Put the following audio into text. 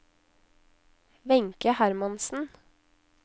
Wenche Hermansen